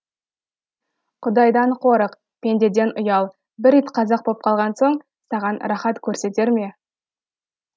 құдайдан қорық пендеден ұял бір ит қазақ боп қалған соң саған рахат көрсетер ме